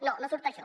no no surt això